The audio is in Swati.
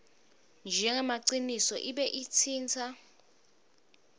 njengemaciniso ibe itsintsa